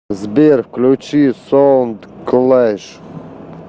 сбер включи соундклэш